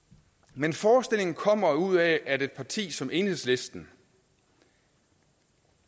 men forestillingen kommer jo ud af at et parti som enhedslisten